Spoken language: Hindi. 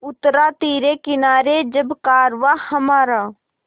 उतरा तिरे किनारे जब कारवाँ हमारा